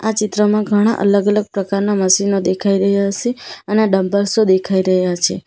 આ ચિત્રમાં ઘણા અલગ અલગ પ્રકારના મશીનો દેખાઈ રહ્યા સે અને ડમ્બેલસો દેખાઈ રહ્યા છે.